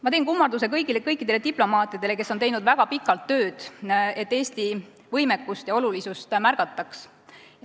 Ma teen kummarduse kõikidele diplomaatidele, kes on teinud väga pikalt tööd, et Eesti võimekust ja olulisust märgataks.